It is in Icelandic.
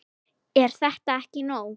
Er þetta ekki nóg?